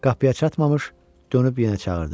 Qapıya çatmamış, dönüb yenə çağırdı.